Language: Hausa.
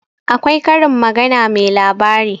akwai Karin magana mai labari